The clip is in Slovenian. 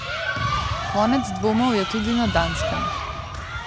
Konec dvomov je tudi na Danskem.